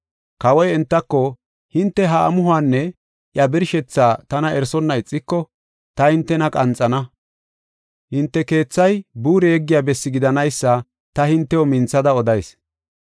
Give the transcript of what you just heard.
Kawoy entako, “Hinte ha amuhuwanne iya birshethaa tana erisonna ixiko, ta hintena qanxana; hinte keethay buure yeggiya bessi gidanaysa ta hintew minthada odayis.